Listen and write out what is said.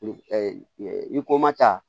I ko ma ta